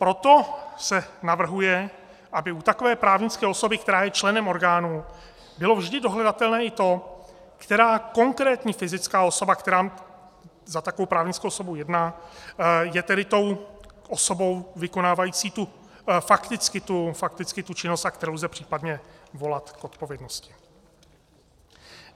Proto se navrhuje, aby u takové právnické osoby, která je členem orgánu, bylo vždy dohledatelné i to, která konkrétní fyzická osoba, která za takovou právnickou osobu jedná, je tedy tou osobou vykonávající fakticky tu činnost, za kterou lze případně volat k odpovědnosti.